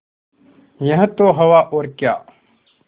यह तो हवा और क्या